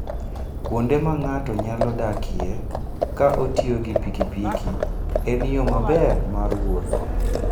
Kuonde ma ng'ato nyalo dakie ka otiyo gi pikipiki, en yo maber mar wuoth.